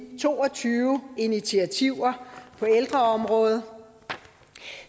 to og tyve initiativer på ældreområdet